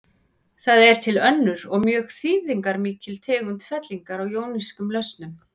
Það er til önnur og mjög þýðingarmikil tegund fellingar úr jónískum lausnum.